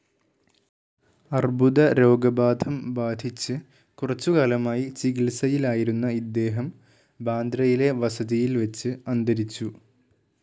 അർബുദ രോഗബാധം ബാധിച്ച് കുറച്ചുകാലമായി ചികിത്സയിലായിരുന്ന ഇദ്ദേഹം ബാന്ദ്രയിലെ വസതിയിൽ വെച്ച് അന്തരിച്ചു.